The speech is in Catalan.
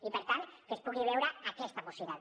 i per tant que es pugui veure aquesta possibilitat